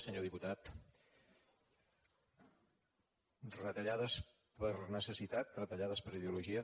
senyor diputat retallades per necessitat retallades per ideologia